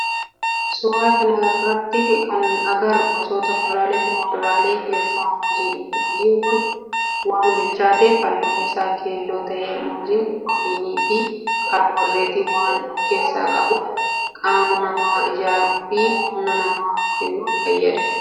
Suuraa kana irratti kana agarru gosoota kuduraalee fi muduraalee keessaa muuziidha. Muuziin kun waan bilchaatef halluun isaa keelloo ta'e. Muuziin pirootinii fi kaarboohayidireetii waan of keessaa qabuuf qaama namaa ijaaruu fi humna namaa kennuuf fayyada.